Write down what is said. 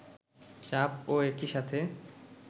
চাপ ও একি সাথে